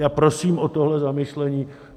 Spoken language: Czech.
Já prosím o tohle zamyšlení.